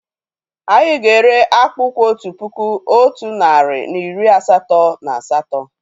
Anyị ga-ere akpùkwú otu puku, otu narị na iri asatọ na asatọ